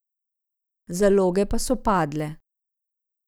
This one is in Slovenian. Zaloge pa so padle.